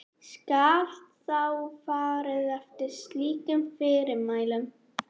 Skal þá farið eftir slíkum fyrirmælum.